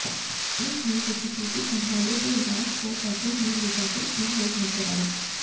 police ने CCTV खंगाले तो लाश को ऑटो में लेजाते तीन लोग नजर आए